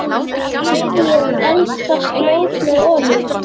Smyrjið eldfast mót með olíu.